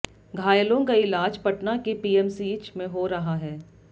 घायलों का ईलाज पटना के पीएमसीच में हो रहा है